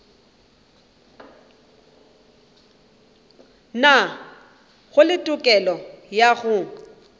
nago le tokelo ya go